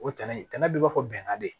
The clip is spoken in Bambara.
O tana ye tana bɛ fɔ bɛnkan de ye